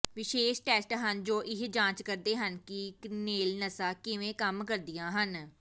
ਵਿਸ਼ੇਸ਼ ਟੈਸਟ ਹਨ ਜੋ ਇਹ ਜਾਂਚ ਕਰਦੇ ਹਨ ਕਿ ਕ੍ਰੀਨਲ ਨਸਾਂ ਕਿਵੇਂ ਕੰਮ ਕਰਦੀਆਂ ਹਨ